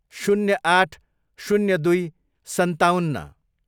शून्य आठ, शून्य दुई, सन्ताउन्न